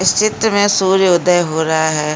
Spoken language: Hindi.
इसचित में सूर्य उदय हो रहा है।